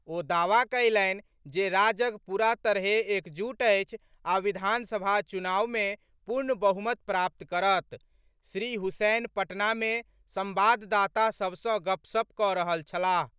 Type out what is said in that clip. ओ दावा कयलनि जे राजग पूरा तरहे एकजुट अछि आ विधानसभा चुनावमे पूर्ण बहुमत प्राप्त करत। श्री हुसैन पटनामे सम्वाददाता सभसँ गपसप कऽ रहल छलाह।